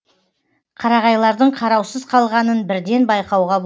қарағайлардың қараусыз қалғанын бірден байқауға